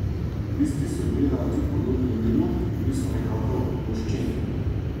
Listi so bili na otip podobni milu, bili so nekako voščeni.